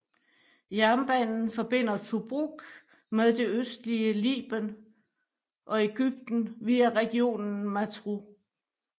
Jernbanen forbinder Tobruk med det østlige Liben og Egypten via regionen Matruh